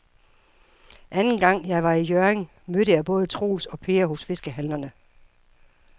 Anden gang jeg var i Hjørring, mødte jeg både Troels og Per hos fiskehandlerne.